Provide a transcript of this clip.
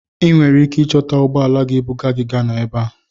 I nwere ike ịchọta ụgbọ ala ga-ebuga gị Ghana ebe a.